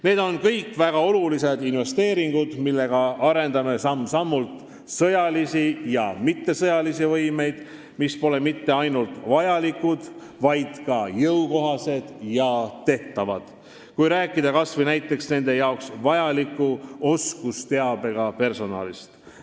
Need on kõik väga olulised investeeringud, millega arendame samm-sammult sõjalisi ja mittesõjalisi võimeid, mis pole mitte ainult vajalikud, vaid ka jõukohased ja tehtavad, kui rääkida kas või nende jaoks vajaliku oskusteabega personalist.